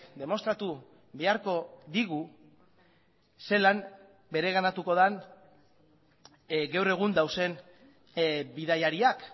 demostratu beharko digu zelan bereganatuko den gaur egun dauden bidaiariak